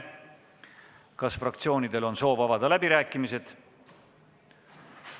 Kas fraktsioonidel on soovi pidada läbirääkimisi?